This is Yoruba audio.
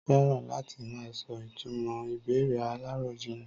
Tọ́lá fẹ́ràn láti máa sọ ìtumò ìbéèrè aláròjinlè.